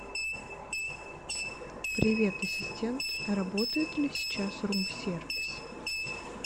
привет ассистент работает ли сейчас рум сервис